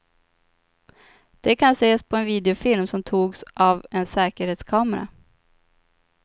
De kan ses på en videofilm som togs av en säkerhetskamera.